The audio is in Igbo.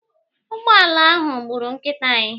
Ụgbọala ahụ gburu nkịta anyị.